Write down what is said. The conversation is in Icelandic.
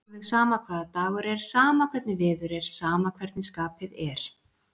Alveg sama hvaða dagur er, sama hvernig veður er, sama hvernig skapið er.